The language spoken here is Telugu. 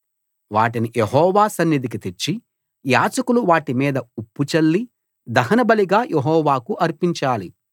వాటిని యెహోవా సన్నిధికి తెచ్చి యాజకులు వాటి మీద ఉప్పు చల్లి దహనబలిగా యెహోవాకు అర్పించాలి